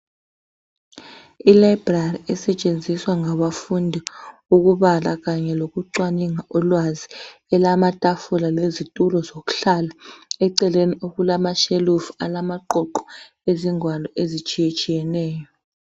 Ilibrary esetshenziswa ngabafundi ukubala kanye lokucwaninga ulwazi, elamatafula lezitulo zokuhlala. Eceleni okulamashelufu alamaqoqo ezingwalo ezitshiyetshiyeneyo.